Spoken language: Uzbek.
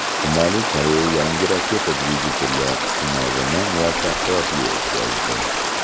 Shimoliy Koreya yangi raketa dvigateli sinovini muvaffaqiyatli o‘tkazdi.